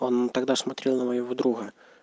он тогда смотрел на моего друга